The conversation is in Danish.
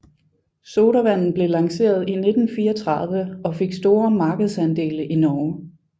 Sodavanden blev lanceret i 1934 og fik store markedsandele i Norge